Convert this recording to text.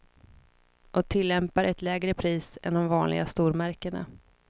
Och tillämpar ett lägre pris än de vanliga stormärkena.